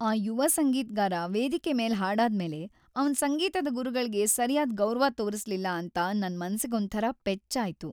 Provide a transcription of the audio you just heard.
ಆ ಯುವ ಸಂಗೀತ್ಗಾರ ವೇದಿಕೆ ಮೇಲ್‌ ಹಾಡಾದ್ಮೇಲೆ ಅವ್ನ್ ಸಂಗೀತದ ಗುರುಗಳ್ಗೆ ಸರ್ಯಾದ್ ಗೌರವ ತೋರ್ಸ್ಲಿಲ್ಲ ಅಂತ ನನ್‌ ಮನ್ಸಿಗೊಂಥರ ಪೆಚ್ಚಾಯ್ತು.